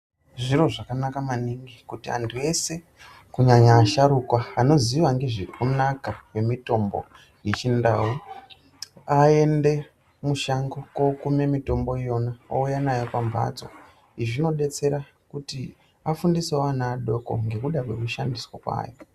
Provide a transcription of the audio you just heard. Zviro zvakanaka maningi kuti antu ese kunyanya asharuka anoziya ngezvekunaka kwemitombo yechindau aende mushango kookume mitombo yona ouya nayo pamhatso. Izvi zvinodetsera afundisewo ana adoko ngekuda kwekushandiswa kwayo.